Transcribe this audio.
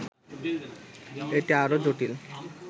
এটি আরও জটিল